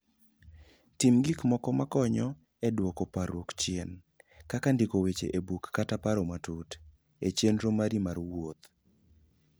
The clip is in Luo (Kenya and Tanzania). Tim gik moko makonyo e duoko parruok chien, kaka ndiko weche e buk kata paro matut, e chenro mari mar wuoth.